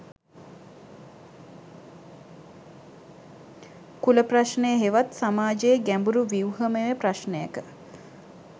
කුල ප්‍රශ්නය හෙවත් සමාජයේ ගැඹුරු ව්‍යුහමය ප්‍රශ්නයක